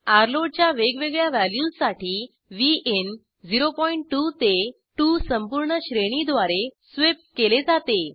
र्लोड च्या वेगवेगळ्या व्हॅल्यूजसाठी विन 02 ते 2 संपूर्ण श्रेणीद्वारे स्वीप केले जाते